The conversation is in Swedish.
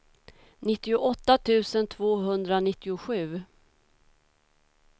nittioåtta tusen tvåhundranittiosju